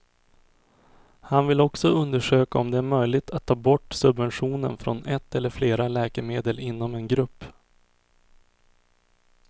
Han vill också undersöka om det är möjligt att ta bort subventionen från ett eller flera läkemedel inom en grupp.